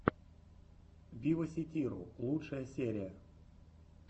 виваситиру лучшая серия